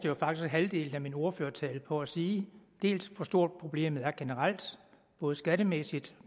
jo faktisk halvdelen af min ordførertale på at sige dels hvor stort problemet er generelt både skattemæssigt